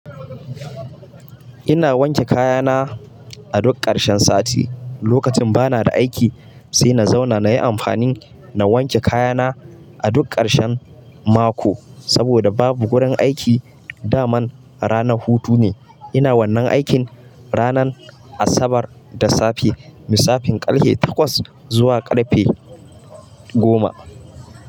Ina wanke kaya na a duk ƙarshen sati. Lokacin bana da aiki sai na zauna na yi amfani na wanke kayana a duk ƙarshen mako. Saboda babu gurin aiki, da man ranar hutu ne. Ina wannan aikin ranan Asabar da safe. Misafin ƙarfe takwas zuwa ƙarfe goma.